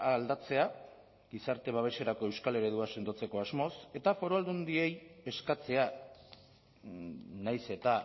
aldatzea gizarte babeserako euskal eredua sendotzeko asmoz eta foru aldundiei eskatzea nahiz eta